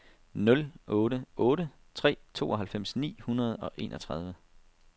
nul otte otte tre tooghalvfems ni hundrede og enogtredive